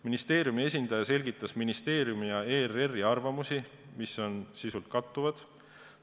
Ministeeriumi esindaja selgitas ministeeriumi ja ERR-i arvamusi, mis on sisult kattuvad.